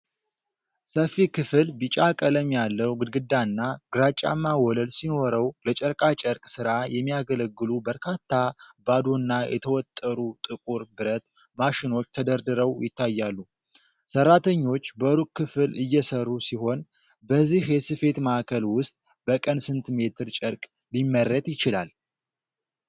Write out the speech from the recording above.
ሰፊ ክፍል ቢጫ ቀለም ያለው ግድግዳና ግራጫማ ወለል ሲኖረው፣ ለጨርቃ ጨርቅ ሥራ የሚያገለግሉ በርካታ ባዶና የተወጠሩ ጥቁር ብረት ማሽኖች ተደርድረው ይታያሉ። ሠራተኞች በሩቅ ክፍል እየሠሩ ሲሆን፣ በዚህ የስፌት ማዕከል ውስጥ በቀን ስንት ሜትር ጨርቅ ሊመረት ይችላል?